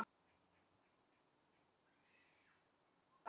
Guðný: Hvernig eru aðstæðurnar þar?